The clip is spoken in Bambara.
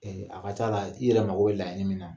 Ee a ka ca'la i yɛrɛ mako laɲini min na